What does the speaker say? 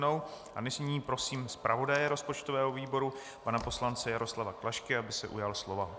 Nyní prosím zpravodaje rozpočtového výboru pana poslance Jaroslava Klašku, aby se ujal slova.